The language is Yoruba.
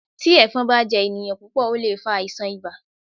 Tí Ẹ̀fọn bá jẹ ènìyàn púpọ̀ ó lè fa àìsàn ibà.